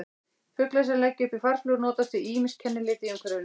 Fuglar sem leggja upp í farflug notast við ýmis kennileiti í umhverfinu.